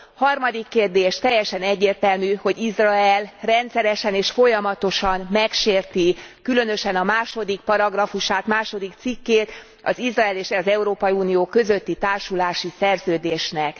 Harmadik kérdés teljesen egyértelmű, hogy Izrael rendszeresen és folyamatosan megsérti különösen a második paragrafusát, második cikkét az Izrael és az Európai Unió közötti társulási szerződésnek.